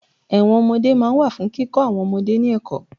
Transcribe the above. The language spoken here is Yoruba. Ẹ̀wọ̀n ọmọdé máa ń wà fún kíkọ àwọn ọmọdé ní ẹ̀kọ́